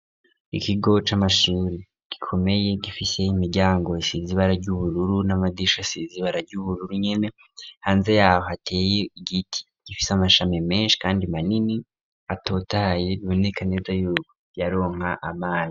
Ikigo c'amashuri gikomeye gifise imiryango isize ibara ry'ubururu n'amadirisha azize ibara ry'ubururu nyene, hanze yaho hateye igiti gifise amashami menshi kandi manini atotahaye bibineka neza yuko ryaronka amazi.